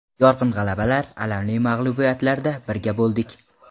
Yorqin g‘alabalar, alamli mag‘lubiyatlarda birga bo‘ldik.